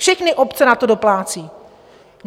Všechny obce na to doplácí.